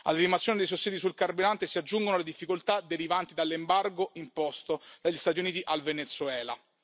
Alla rimozione dei sussidi sul carburante si aggiungono le difficoltà derivanti dall'embargo imposto dagli Stati Uniti al Venezuela.